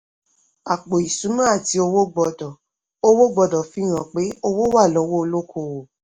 àpò ìṣúná àti owó gbọ́dọ̀ owó gbọ́dọ̀ fihan pé owó wà lọ́wọ́ olókòwò.